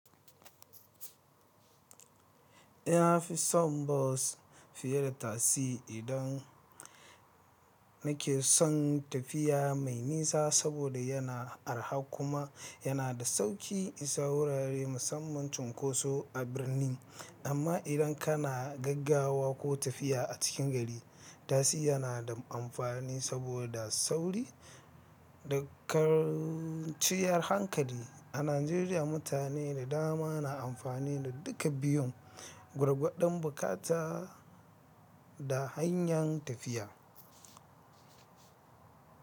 Ina fi son bas fiye da tasi idan nake son tafiya mai nisa saboda yana arha kuma yana da sauƙi isa wurare musamman cunkoso a birni. Amma idan kana gaggawa ko tafiya a cikin gari, tasi yana da amfani saboda sauri da karciyar hankali. A Najeriya, mutane da dama na amfani da duka biyun, gwargwadon buƙata da hanyar tafiya.